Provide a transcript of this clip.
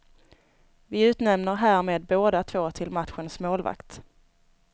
Vi utnämner härmed båda två till matchens målvakt.